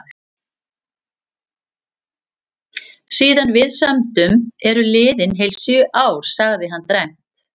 Síðan við sömdum eru liðin heil sjö ár, sagði hann dræmt.